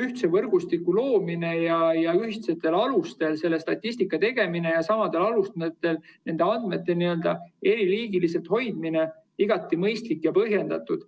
ühtse võrgustiku loomine ja ühtsetel alustel selle statistika tegemine ja samadel alustel nende andmete eriliigiliselt hoidmine igati mõistlik ja põhjendatud.